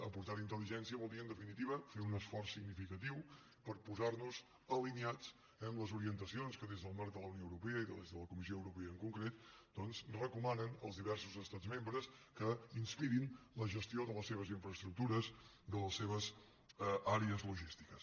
aportar hi intel·ligència vol dir en definitiva fer un esforç significatiu per posar nos alineats amb les orientacions que des del marc de la unió europea i de les de la comissió europea en concret doncs recomanen als diversos estats membre que inspirin la gestió de les seves infraestructures de les seves àrees logístiques